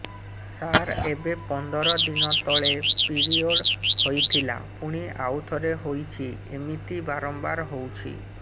ସାର ଏବେ ପନ୍ଦର ଦିନ ତଳେ ପିରିଅଡ଼ ହୋଇଥିଲା ପୁଣି ଆଉଥରେ ହୋଇଛି ଏମିତି ବାରମ୍ବାର ହଉଛି